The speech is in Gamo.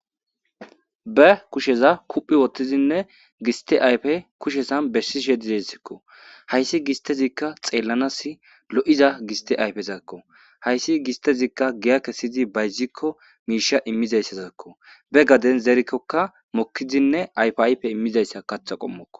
Be kusheza kuphphi wottidinne giste ayfe bessishe dizayssako. Hayssi gistezikka xeellanas lo'iza giste ayfezakko. Hayssi gistezikka giya kessi bayzikko miishsha immizaysakko. Be gaden zerikkokka mokkidinne ayfa ayfe immizayssa kaththa qommoko.